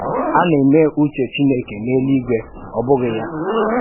À na-èmè ùchè Chìnékè n’èlú-ígwè, ọ́ bụ̀ghị ya?